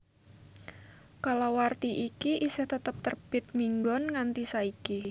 Kalawarti iki isih tetep terbit minggon nganti saiki